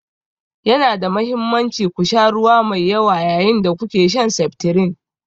Yana da mahimmanci ku sha ruwa mai yawa yayin da kuke shan seftirin.